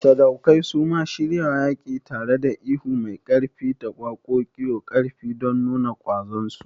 Sadaukai suma shiryawa yaƙi, tareda ihu mai ƙarfi ta da waƙoƙiu ƙarfi don nuna ƙwazon su.